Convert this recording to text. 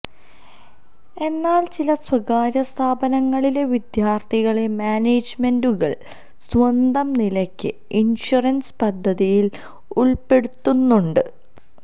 എന്നാല് ചില സ്വകാര്യ സ്ഥാപനങ്ങളിലെ വിദ്യാര്ഥികളെ മാനേജ്മെന്റുകള് സ്വന്തം നിലയ്ക്ക് ഇന്ഷുറന്സ് പദ്ധതിയില് ഉള്പ്പെടുത്തുന്നുണ്ട്